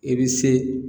I bɛ se